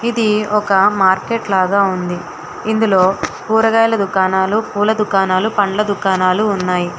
ఇది ఒక మార్కెట్ లాగా ఉంది ఇందులో కూరగాయల దుకాణాలు పూల దుకాణాలు పండ్ల దుకాణాలు ఉన్నాయి.